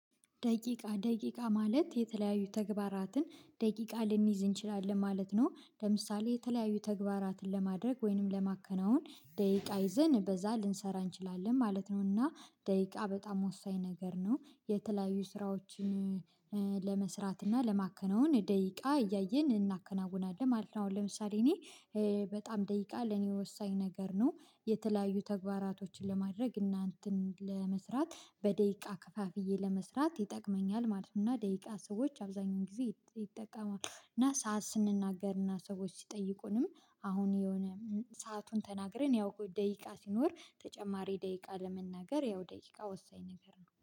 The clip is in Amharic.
ደቂቃ ደቂቃ ማለት የተለያዩ ተግባራትን ደቂቃ ልንይዝ እንችላለን ማለት ነው። ለምሳሌ የተለያዩ ተግባራትን ለማድረግ ወይንም ለማከናወን ደቂቃ ይዘን በዛ ልንሰራ እንችላለን ማለት ነው። እና ደቂቃ በጣም ወሳኝ ነገር ነው። የተለያዩ ስራዎችን ለመስራት እና ለማከነውን ደቂቃ እያየን እናከናውናለን ማለት ነው። አሁን ለምሳሌ እኔ በጣም ደቂቃ ለኔ ወሳኝ ነገር ነው። የተለያዩ ተግባራቶችን ለማድረግ እና እንተን ለመስራት በደቂቃ ከፋፍዬ ለመስራት ይጠቅመኛል ማለት ነው። እና ደቂቃ ሰዎች አብዛኛውን ጊዜ ይጠቀማሉ። እና ሰዓት ስንናገር እና ሰዎች ሲጠይቁንም አሁን የሆነ ሰአቱን ተናግረን ያው ደቂቃ ሲኖር ተጨማሪ ደቂቃ ለመናገር ያው ደቂቃ ወሳኝ ነገር ነው።